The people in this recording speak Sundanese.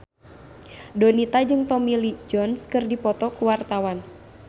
Donita jeung Tommy Lee Jones keur dipoto ku wartawan